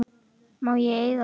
Má ég eiga það?